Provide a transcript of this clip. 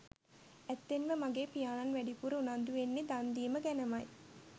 ඇත්තෙන්ම මගේ පියාණන් වැඩිපුර උනන්දු වෙන්නේ දන් දීම ගැනමයි.